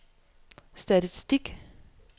statistik